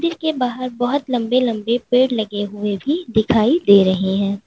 इनके बाहर बहोत लंबे लंबे पेड़ लगे हुए भी दिखाई दे रही है।